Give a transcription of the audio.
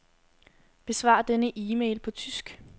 Besvar denne e-mail på tysk.